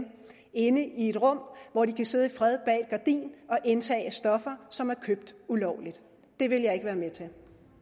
inde i et rum hvor de kan sidde i fred og indtage stoffer som er købt ulovligt det vil jeg ikke være med til